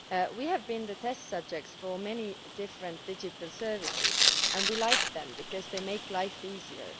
We have been the test subjects for many different digital services, and we like them because they make life easier.